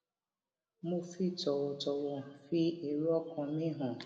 mo fi tòwòtòwò fi èrò ọkàn mi hàn